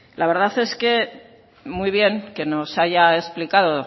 la verdad es que muy bien que nos haya explicado